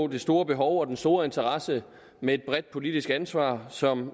det store behov og den store interesse med et bredt politisk ansvar som